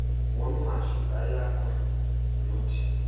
wornqwashu kayako nothi